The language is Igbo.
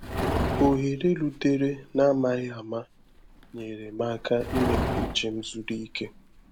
Òhèrè rútèrè n’amaghị ama nyeèrè m aka ime ka ùchè m zuru ike